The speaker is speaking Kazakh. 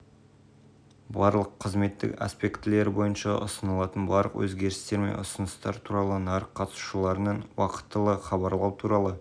өткізілген мәжіліс қорытындысы бойынша жұмыстарды жалғастыру және мемлекеттік органдар мен мүдделі жақтар тарабынан мұнай-газ секторы кәсіпорындарының